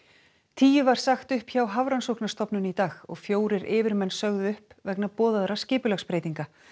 tíu var sagt upp hjá Hafrannsóknastofnun í dag og fjórir yfirmenn sögðu upp vegna boðaðra skipulagsbreytinga